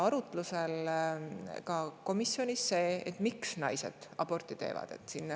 Teiseks oli komisjonis arutlusel, miks naised aborti teevad.